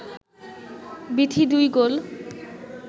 বিথী দুই গোল